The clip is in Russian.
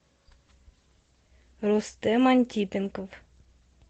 рустем антипенков